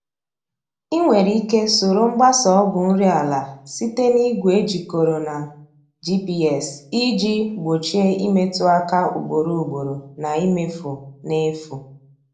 Ị nwere ike soro mgbasa ọgwụ nri ala site n'igwe ejikọrọ na GPS iji gbochie imetụ aka ugboro ugboro na imefu n’efu.